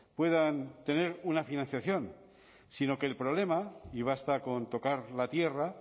puedan tener una financiación sino que el problema y basta con tocar la tierra